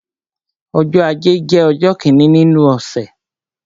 Ọjọ́ ajé jẹ́ ọjọ́ kíni nínú ọ̀sẹ̀.